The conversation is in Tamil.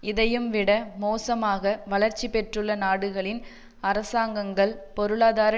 இதையும் விட மோசமாக வளர்ச்சி பெற்றுள்ள நாடுகளின் அரசாங்கங்கள் பொருளாதார